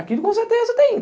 Aquilo com certeza tem.